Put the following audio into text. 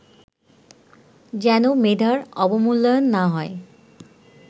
যেন মেধার অবমূল্যায়ন না হয়